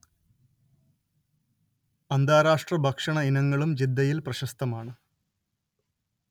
അന്താരാഷ്ട്ര ഭക്ഷണ ഇനങ്ങളും ജിദ്ദയിൽ പ്രശസ്തമാണ്